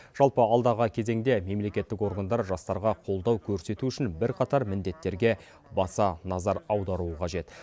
жалпы алдағы кезеңде мемлекеттік органдар жастарға қолдау көрсету үшін бірқатар міндеттерге баса назар аударуы қажет